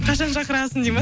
қашан шақырасың дейді ма